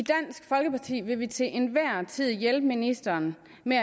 i vil vi til enhver tid hjælpe ministeren med